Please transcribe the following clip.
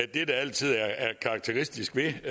det der altid er karakteristisk ved